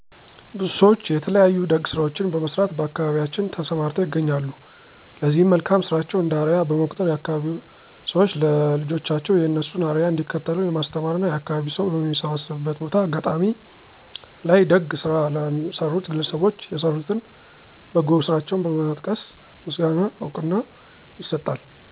ብዙ ሰዎች የተለያዩ ደግ ስራዎችን በመስራት በአካባቢያችን ተሰማርተው ይገኛሉ ለዚህ መልካም ስራቸው እንደ አርያ በመቁጠር የአካባቢዉ ሰዎች ለልጆቻቸው የእነሱን አርያ እንዲከተሉ የማስተማር እና የአካባቢው ሰው በሚሰባሰብበት ቦታ(አጋጣሚ) ላይ ደግ ስራ ለሰሩት ግለሰቦች የሰሩትን በጎ ስራቸውን በመጥቀስ ምስጋና እና እውቅና ይሰጣል።